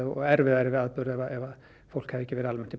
og erfiðari atburð ef fólk hefði ekki almennt